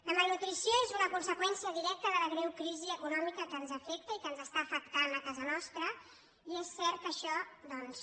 la malnutrició és una conseqüèn·cia directa de la greu crisi econòmica que ens afecta i que ens està afectant a casa nostra i és cert que ai·xò doncs